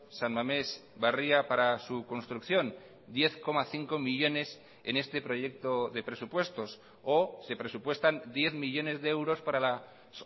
san mamés barria para su construcción diez coma cinco millónes en este proyecto de presupuestos o se presupuestan diez millónes de euros para las